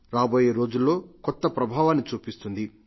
రాబోయే రోజుల్లో కొత్త ప్రభావాన్ని చూపిస్తుంది